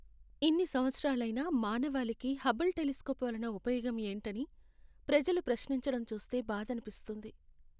ఇన్ని సంవత్సరాలైనా, మానవాళికి హబుల్ టెలిస్కోప్ వలన ఉపయోగం ఏంటని ప్రజలు ప్రశ్నించడం చూస్తే బాధనిపిస్తుంది.